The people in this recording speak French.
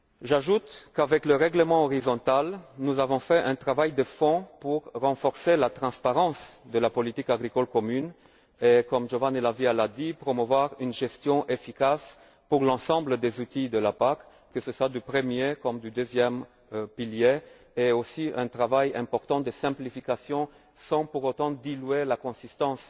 J'ajoute qu'avec le règlement horizontal, nous avons réalisé un travail de fond pour renforcer la transparence de la politique agricole commune et, comme l'a dit Giovanni La Via, promouvoir une gestion efficace pour l'ensemble des outils de la PAC, que ce soit du 1 er comme du 2 e pilier, ainsi qu'un travail important de simplification sans pour autant diluer la consistance